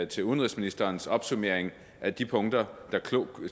til udenrigsministerens opsummering af de punkter der